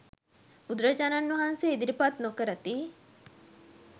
බුදුරජාණන් වහන්සේ ඉදිරිපත් නොකරති.